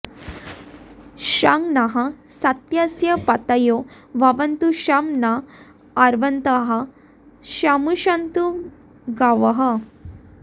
शं नः सत्यस्य पतयो भवन्तु शं नो अर्वन्तः शमु सन्तु गावः